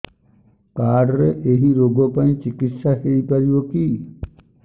card ରେ ଏଇ ରୋଗ ପାଇଁ ଚିକିତ୍ସା ହେଇପାରିବ କି